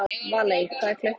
Valey, hvað er klukkan?